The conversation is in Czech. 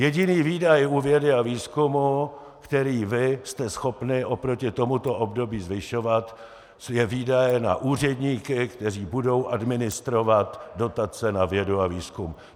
Jediný výdaj u vědy a výzkumu, který vy jste schopni oproti tomuto období zvyšovat, je výdaj na úředníky, kteří budou administrovat dotace na vědu a výzkum.